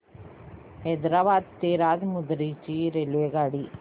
हैदराबाद ते राजमुंद्री ची रेल्वेगाडी